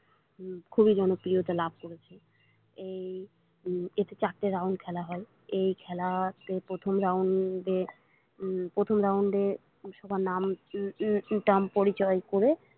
খুবই জনপ্রিয়তা লাভ করেছে এই এতে চারটে round খেলা হয় এই খেলাতে প্রথম round এ উম প্রথম round এ সবার নাম টাম পরিচয় করে।